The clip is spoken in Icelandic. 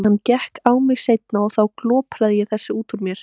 En hann gekk á mig seinna og þá glopraði ég þessu upp úr mér.